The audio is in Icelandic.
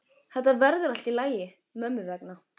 Þetta verður allt í lagi mömmu vegna.